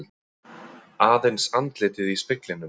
Aðeins andlitið í speglinum.